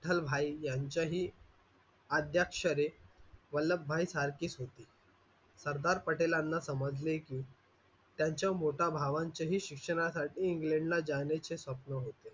विठ्लभाई यांच्या हि आद्याक्षरे वल्लभभाई सारखीच होती. सरदार पटेलांना समजले कि त्यांच्या मोठ्या भावांच्या शिक्षणासाठी इंग्लडला जाण्याचे स्वप्न होते.